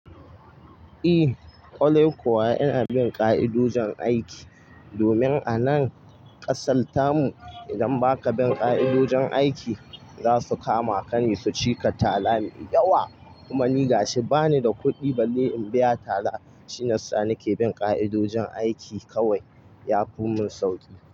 Eh, ƙallo kuwa ina bin ƙa'idojin aiki, domin a nan ƙasarta mu idan baka bin ƙa'idojin aiki, za su kama ka ne su cika tara mai yawa. Kuma ni ga shi bani da kuɗi balle in biya tara. Shi ne sa nake bin ƙa'idojin aiki kawai. Ya fi mun sauƙi.